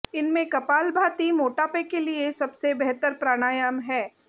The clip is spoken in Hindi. इनमें कपालभाति मोटापे के लिए सबसे बेहतर प्राणायाम है